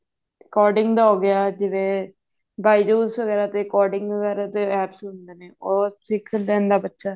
coding ਦਾ ਹੋਗਿਆ ਜਿਵੇਂ byjus ਵਗੇਰਾ ਤੇ coding ਵਗੇਰਾ ਤੇ apps ਹੁੰਦੇ ਨੇ ਉਹ ਸਿੱਖ ਲੈਂਦਾ ਬੱਚਾ